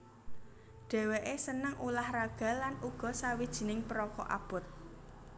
Dhèwèké seneng ulah raga lan uga sawijining perokok abot